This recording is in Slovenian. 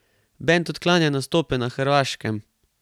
Bend odklanja nastope na Hrvaškem.